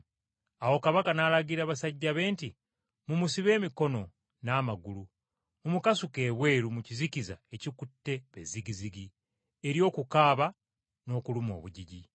“Awo kabaka n’alagira basajja be nti, ‘Mumusibe emikono n’amagulu mumukasuke ebweru mu kizikiza ekikutte be zigizigi, eri okukaaba n’okuluma obujiji.’